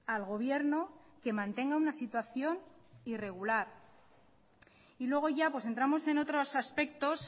al gobierno que mantenga una situación irregular y luego ya entramos en otros aspectos